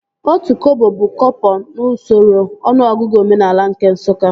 Otu kọbọ bụ kọpọ n'usoro ọnụọgụgụ omenaala nke Nsụka